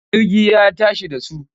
Jirgi ya tashi da su.